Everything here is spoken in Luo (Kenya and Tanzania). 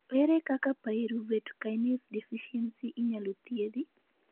Ere kaka pyruvate kinase deficiency inyalo chiedh?